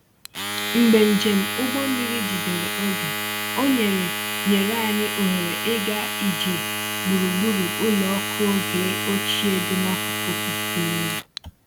Mgbe njem ụgbọ mmiri jidere oge, o nyere nyere anyị ohere ịga ije gburugburu ụlọ ọkụ oge ochie dị n’akụkụ osimiri.